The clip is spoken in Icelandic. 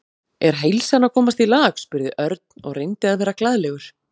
Er heilsan að komast í lag? spurði Örn og reyndi að vera glaðlegur.